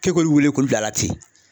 K'e k'olu wele k'olu bila a la ten.